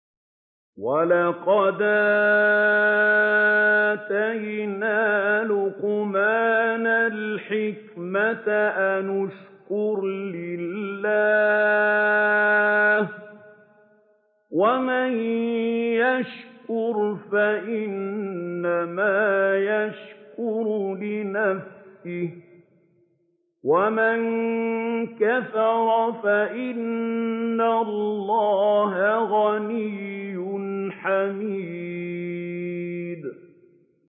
وَلَقَدْ آتَيْنَا لُقْمَانَ الْحِكْمَةَ أَنِ اشْكُرْ لِلَّهِ ۚ وَمَن يَشْكُرْ فَإِنَّمَا يَشْكُرُ لِنَفْسِهِ ۖ وَمَن كَفَرَ فَإِنَّ اللَّهَ غَنِيٌّ حَمِيدٌ